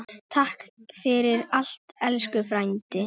Takk fyrir allt, elsku frændi.